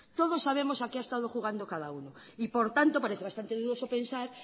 todos sabemos a qué ha estado jugando cada uno y por tanto parece bastante dudoso pensar